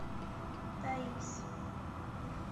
таиз